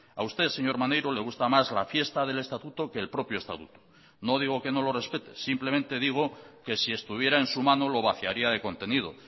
a usted señor maneiro le gusta más la fiesta del estatuto que el propio estatuto no digo que no lo respete simplemente digo que si estuviera en su mano lo vaciaría de contenido